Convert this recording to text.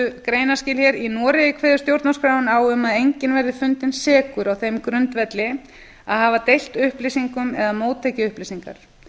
greinarskil hér í noregi kveður stjórnarskráin á um að enginn verði fundinn sekur á þeim grundvelli að hafa deilt upplýsingum eða móttekið upplýsingar